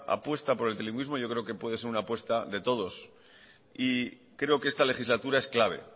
apuesta por el trilingüismo yo creo que puede ser una apuesta de todos creo que esta legislatura es clave